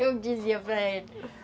Eu dizia para ele.